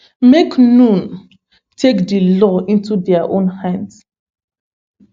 make noone take di law into dia own hands